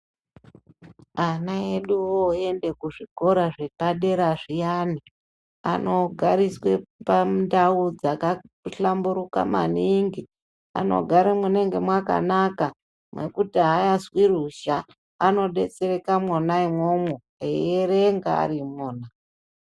Ana edu oende kuzvikora zvedera zviyana anogariswee pandau dzakahlamburuka maningi anogara mwunenge mwakanaka mwekuti aazwi ruzha anodetsereka mwona imwomwo eirenge arimwo.